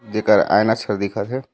देकर आइना च हर दिखत हे।